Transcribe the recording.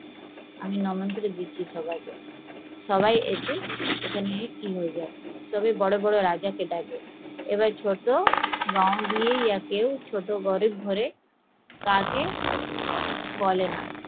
আমি সবাই এসে সবাই বড়ো বড়ো রাজাকে ডাকে, এবার কাউকে ছোট গরিব ঘরে বলেনা